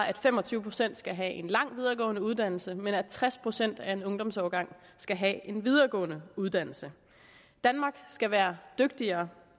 at fem og tyve procent skal have en lang videregående uddannelse men også at tres procent af en ungdomsårgang skal have en videregående uddannelse danmark skal være dygtigere